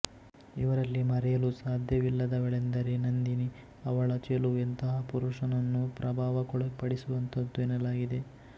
ಇವರಲ್ಲಿ ಮರೆಯಲು ಸಾಧ್ಯವಿಲ್ಲದವಳೆಂದರೆ ನಂದಿನಿ ಅವಳ ಚೆಲುವು ಎಂತಹ ಪುರುಷನನ್ನೂ ಪ್ರಭಾವಕ್ಕೊಳಪಡಿಸುವಂಥದ್ದು ಎನ್ನಲಾಗಿದೆ